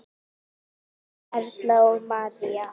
Þínar Erla og María.